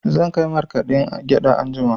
Zan kai markaɗen gyaɗa anjima.